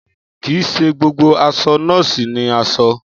Kì í ṣe gbogbo aṣọ nọ́ọ̀sì ni aṣọ